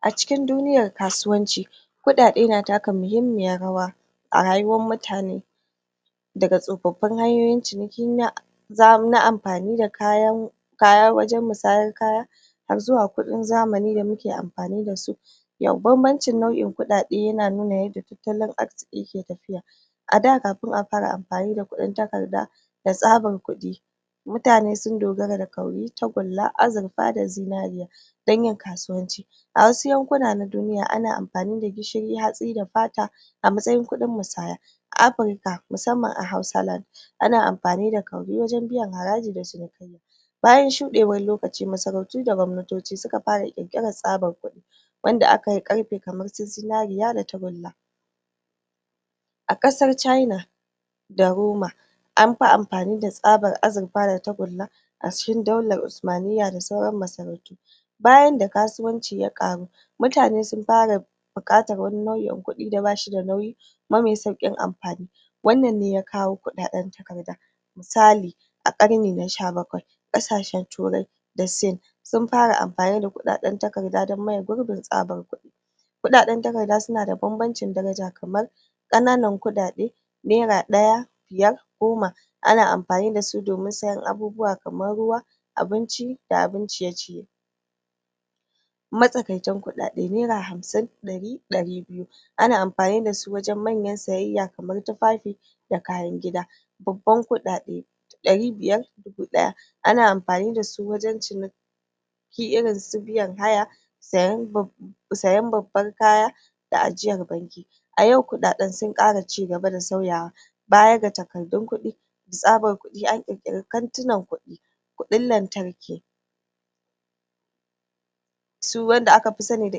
A cikin duniyar kasuwanci kudade na taka mahimmiyar rawa a rayuwar mutane daga tsofaffin hanyoyin ciniki na na amfani da kayan wajar musayar kaya har zuwa kudin zamani da muke amfani da su babbancin nau'in kudade yana nuna yadda tattalin arzikii yake tafiya ada kafin a fara amfani da kudin takarda da tsabar kudi mutane sun dogara da wuri wato [kauri] tagulla, azirfa da zinari dan yin kasuwanci awasu yankuna na duniya ana ammfani da gishiri hatsi da fata a matsayin kudin musaya a Afirika musamman a Hausa [lan] ana amfani da[ kauri] wato wuri wajan biyan haraji da cinikayya bayan shudewan lokaci masarautu da gwamnatoci suka fara kirkiran sabon kudi wadda a kayi da karfe kamar su zinzriya da tagulla a kasar sin wato [cana] da roma amfi amfani da tsabar azirfa da tagulla a cikin daular usumaniyya da sauran masarautu bayan da kasuwanci ya karu mutane sun fara bukatar nau'in kudi da bashi da nauyi kuma mai saukin amfani wannan dalilin ne ya kawo kudadan takarda musali a karni na sha bakwai kasashen ture da sin sun fara amfani da kudaden takarda dan maye gurbin tsabar kudi kudaden takarda suna da babbancin daraja kamar kanan kudade nera daya [1] biyar [5] goma [10] ana amfani dasu domin sayan abubuwa kamar ruwa abinci da abin ciye-ciye matsakaitan kudade nera hamsin, dari, dari biyu ana amfani da su wajan manyan sayayya kamar tufafi da kayan gida bubban kudade dari biyar [500] dubu daya [1000] ana amfani da su wajan ciniki irin su biyan haya sayan babban kaya da ajiyar a yau kudadan sun kara cigaba da bsauyawa bayan takardun kudi tsabar kudi an kirkiri wurin ajiyar kudi wato [banki] kudin lantarki wadda aka fi sani da[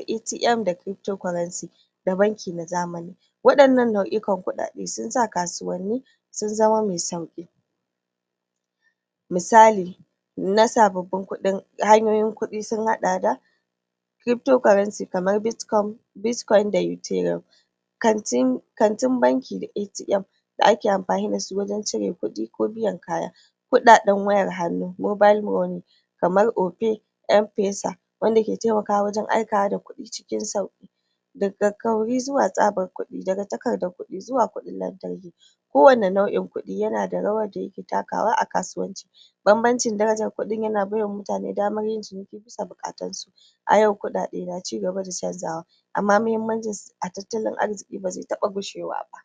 ai'tiam] da[ kirifto koranci] da banki na zamani wa dannan nau'ikan kudade sun sa kasuwanni sun zama masu sauki misali nasa babban kudi, hanyoyin kudi sun hada da kirifto koranci, kamar bitkoy da yutaira wajan ajyan kudi wata [banki] da kuma wan cire kudi [aiti'am [ATM] da ake amfani da su wajan cire kudi ko biyan kaya wurin cire kudi na hannu [mobal mone] kamar ofai [opay] am fesa wanda ke temakawa wajan aika kudi cikin sauki daga kauri zuwa tsabar kudi daga takardan kudi zuwa kudin lantarki kowani nau'in kudi yana da rawan da yake takawa a kasuwanci babbancin kudin yana baiwa mutane daman yin ciniki dan biyan bukatun su ayau kudade na cigaba da canjawa amma mahimmancinsu a tattalin arziki ba zai taba gushewa ba